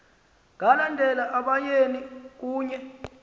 balandela abayeni kunye